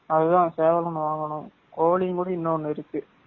அதுதான் சேவல் ஒன்னு வாங்கானும், கோழியுங் கூட இன்னொன்னு ஒன்னு இருக்கு